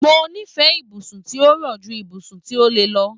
Mo nífẹẹ ibùsùn tí ó rọ̀ ju ibùsùn tí ó le lọ.